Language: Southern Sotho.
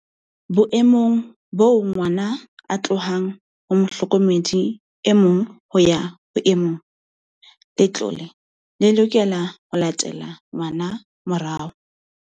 Boemong boo ngwana a tlohang ho mohlokomedi e mong ho ya ho e mong, le tlole le lokela ho latela ngwana morao.